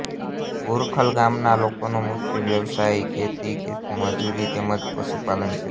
ભુરખલ ગામના લોકોનો મુખ્ય વ્યવસાય ખેતી ખેતમજૂરી તેમ જ પશુપાલન છે